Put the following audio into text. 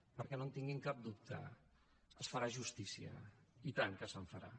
perquè no en tinguin cap dubte es farà justícia i tant que se’n farà